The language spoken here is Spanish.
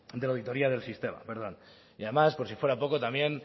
de la auditoria del sistema y además por si fuera poco también